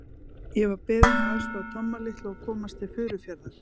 Ég var beðinn að aðstoða Tomma litla að komast til Furufjarðar.